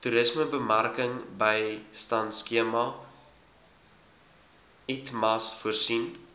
toerismebemarkingbystandskema itmas voorsien